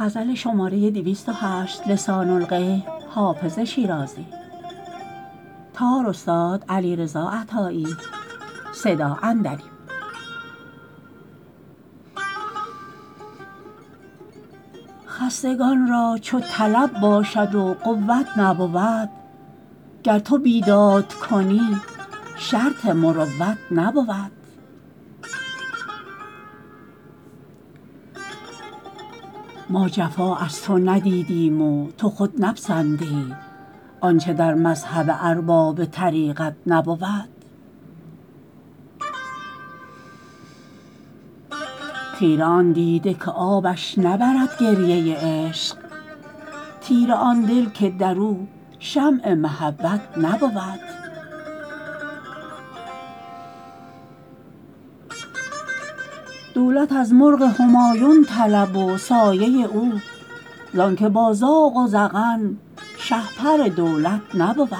خستگان را چو طلب باشد و قوت نبود گر تو بیداد کنی شرط مروت نبود ما جفا از تو ندیدیم و تو خود نپسندی آنچه در مذهب ارباب طریقت نبود خیره آن دیده که آبش نبرد گریه عشق تیره آن دل که در او شمع محبت نبود دولت از مرغ همایون طلب و سایه او زان که با زاغ و زغن شهپر دولت نبود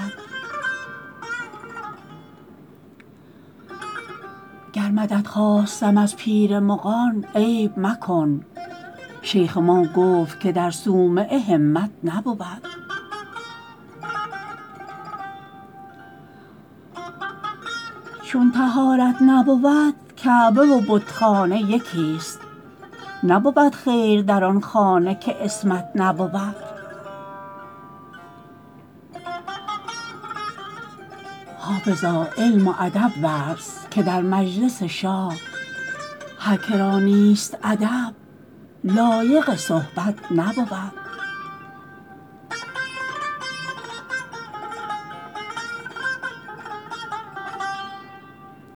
گر مدد خواستم از پیر مغان عیب مکن شیخ ما گفت که در صومعه همت نبود چون طهارت نبود کعبه و بتخانه یکیست نبود خیر در آن خانه که عصمت نبود حافظا علم و ادب ورز که در مجلس شاه هر که را نیست ادب لایق صحبت نبود